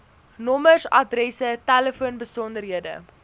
nommers adresse telefoonbesonderhede